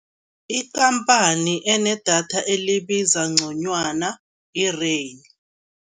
Ikhamphani enedatha elibiza nconywana i-Rain.